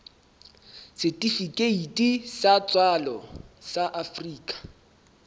setifikeiti sa tswalo sa afrika